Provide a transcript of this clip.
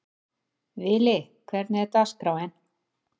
Vili, hvernig er dagskráin?